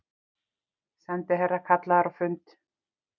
Sendiherra kallaður á fund